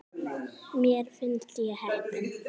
Mér finnst ég heppin.